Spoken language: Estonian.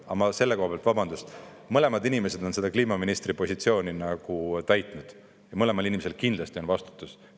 Aga selle kohta ma ütlen, et mõlemad inimesed on kliimaministri positsiooni täitnud ja neil mõlemal on kindlasti vastutus.